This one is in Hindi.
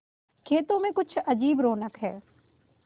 खेतों में कुछ अजीब रौनक है